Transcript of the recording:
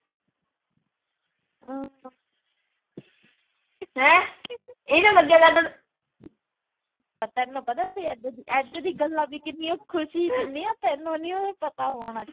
ਪਰ ਤੈਨੂੰ ਪਤਾ ਇਦਾਂ ਦੀਆਂ ਗੱਲਾਂ ਵੀ ਕਿੰਨੀਆਂ ਖੁਸ਼ੀ ਦਿੰਦੀਆਂ ਤੈਨੂੰ ਨੀ ਪਤਾ ਹੋਣਾ।